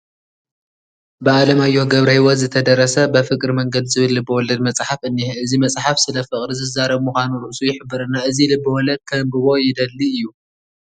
ብኣለማዮህ ገብረህይወት ዝተደረሰ በፍቅር መንገድ ዝብል ልበ ወለድ መፅሓፍ እኒሀ፡፡ እዚ መፅሓፍ ስለ ፍቕሪ ዝዛረብ ምዃኑ ርእሱ ይሕብረና፡፡ እዚ ልበ ወለድ ከንብቦ ይደሊ እዩ፡፡